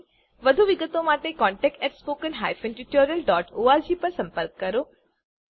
વધુ વિગત માટે contactspoken tutorialorg પર સંપર્ક કરો